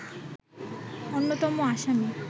অন্যতম আসামী